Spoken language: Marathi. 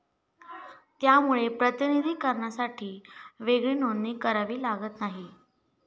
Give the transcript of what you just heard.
त्यामुळे प्रताधीकार्नासाठी वेगळी नोंदणी वगैरे करावी लागत नाही.